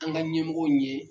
An ka ɲɛmɔgɔ ɲe